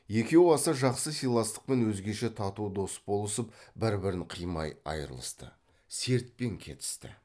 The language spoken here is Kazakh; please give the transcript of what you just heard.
екеуі аса жақсы сыйластықпен өзгеше тату дос болысып бір бірін қимай айрылысты сертпен кетісті